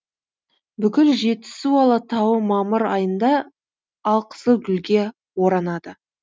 бүкіл жетісу алатауы мамыр айында алқызыл гүлге оранады